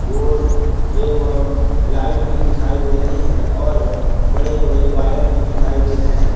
Board एवं light भी दिखाई दे रहे है और बड़े बड़े वायर भी दिखाई दे रहे हैं।